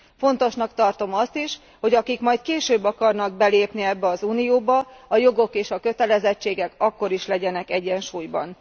Fontosnak tartom azt is, hogy akik majd később akarnak belépni ebbe az unióba, a jogok és kötelezettségek akkor is legyenek egyensúlyban.